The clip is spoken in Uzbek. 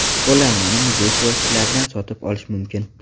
Qo‘llanmani muzey kioskalaridan sotib olish mumkin.